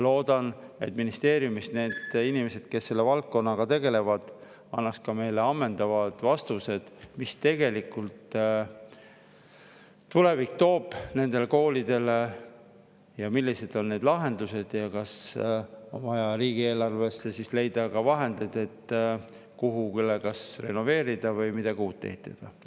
Loodan, et ministeeriumis need inimesed, kes selle valdkonnaga tegelevad, annavad meile ammendavad vastused selle kohta, mis tulevik nendele koolidele toob ja millised on lahendused: kas on vaja leida riigieelarvest vahendeid, et renoveerida või midagi uut ehitada?